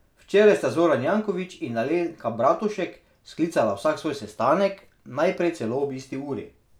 Včeraj sta Zoran Janković in Alenka Bratušek sklicala vsak svoj sestanek, najprej celo ob isti uri.